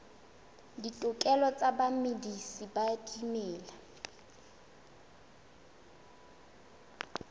ditokelo tsa bamedisi ba dimela